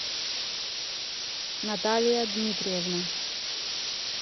наталья дмитриевна